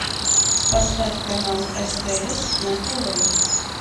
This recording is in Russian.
поставь канал стс на тв